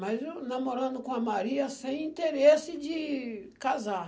Mas eu namorando com a Maria sem interesse de casar.